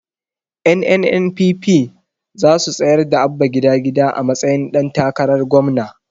Ƴan NNPP zasu tsayar da Abba gida gida a matsayin ɗan takarar gwamna